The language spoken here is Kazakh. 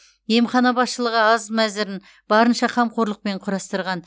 емхана басшылығы ас мәзірін барынша қамқорлықпен құрастырған